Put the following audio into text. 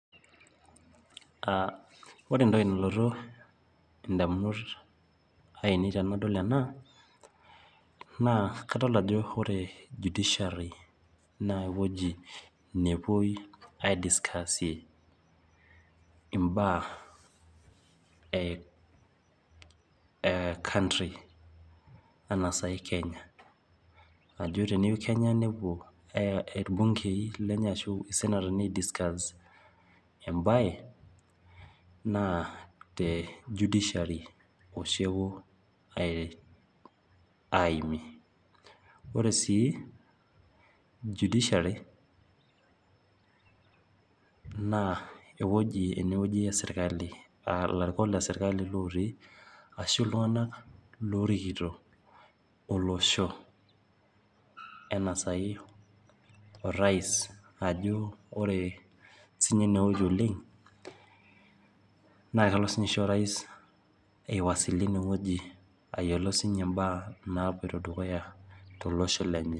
Ore entoki nalotu indamunot ainei tenadol ena naa kadol ajo ore judiciary naa ewuei nepuoi aidscasie imbaa ecountry anaa naji kenya , teneyieu kenya nepuo aidiscuss embae naa tejudiciary oshi epuo aimie. Ore sii judiciary naa ewueji esirkali naa larikok lesirkali lotii ashu iltunganak lorikito olosho enaa sai orais